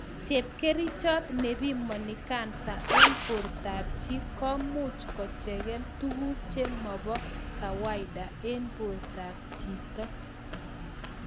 Chepkerichot ne pimani kansa en borto ab chi komuch kocheken tuguk che mobo kawaida en borto ab chito